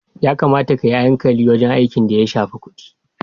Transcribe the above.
Ya kamata kayi hankali wajen aiki da ya shafi kudi.